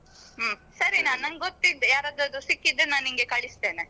ಹ್ಮ್ ಸರಿ ನಾ ನಂಗೊತ್ತಿದ್ರೆ ಯಾರ್ ಹತ್ರ ಆದ್ರೂ ಸಿಕ್ಕಿದ್ದರೆ ನಾನ್ ನಿಂಗೆ ಕಳಿಸ್ತೇನೆ.